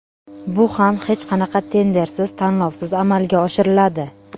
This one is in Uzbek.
Bu ham hech qanaqa tendersiz, tanlovsiz amalga oshiriladi.